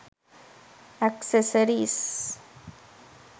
accessories